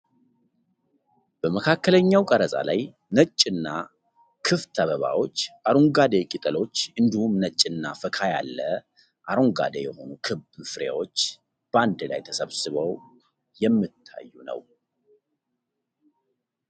በመካከለኛ ቀረጻ ላይ፣ ነጭ እና ክፍት አበባዎች፣ አረንጓዴ ቅጠሎች እንዲሁም ነጭና ፈካ ያለ አረንጓዴ የሆኑ ክብ ፍሬዎች በአንድ ላይ ተሰብስበው የሚታዩ ነው።